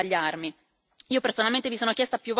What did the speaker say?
Ovviamente mi auguro fortemente di sbagliarmi.